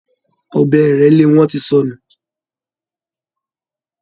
Ọbẹ ìrélé wọn ti sọnù